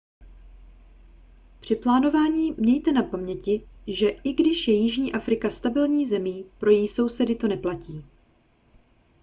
při plánování mějte na paměti že i když je jižní afrika stabilní zemí pro její sousedy to neplatí